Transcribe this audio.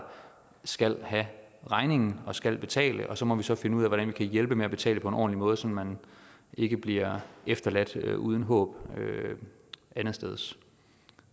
skal have regningen og skal betale så må vi så finde ud af hvordan vi kan hjælpe med at betale på en ordentlig måde så man ikke bliver efterladt uden håb andetsteds